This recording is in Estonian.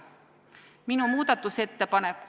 Minu muudatusettepanek ...